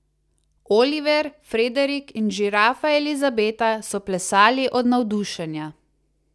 Oliver, Frederik in žirafa Elizabeta so plesali od navdušenja.